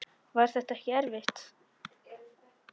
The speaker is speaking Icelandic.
Var þetta ekki erfitt?